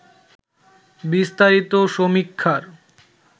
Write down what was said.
বিস্তারিত সমীক্ষার